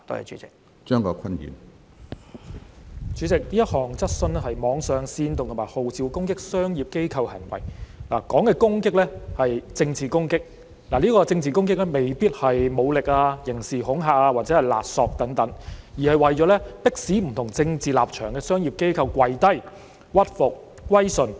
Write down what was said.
主席，這項質詢關乎網上煽動和號召攻擊商業機構行為，提到的攻擊是政治攻擊，政治攻擊未必是武力、刑事恐嚇或勒索等，而是為了迫使不同政治立場的商業機構"跪低"、屈服、歸順。